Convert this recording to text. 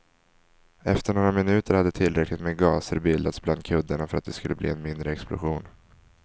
Efter några minuter hade tillräckligt med gaser bildats bland kuddarna för att det skulle bli en mindre explosion.